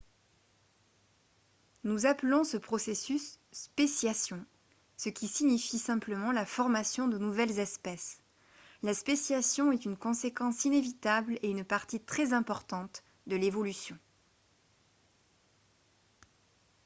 nous appelons ce processus « spéciation » ce qui signifie simplement la formation de nouvelles espèces. la spéciation est une conséquence inévitable et une partie très importante de l’évolution